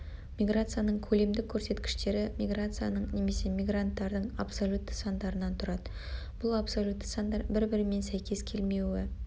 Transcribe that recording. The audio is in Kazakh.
миграцияның көлемдік көрсеткіштері миграцияның немесе мигранттардың абсолютті сандарынан тұрады бұл абсолютті сандар бір бірімен сәйкес келмеуі